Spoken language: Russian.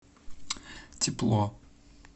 тепло